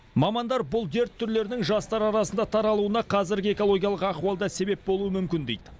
мамандар бұл дерт түрлерінің жастар арасында таралуына қазіргі экологиялық ахуал да себеп болуы мүмкін дейді